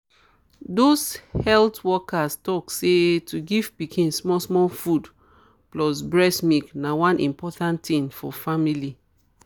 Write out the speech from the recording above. those health workers tok say to give pikin small small food plus breast milk na one important thing for family.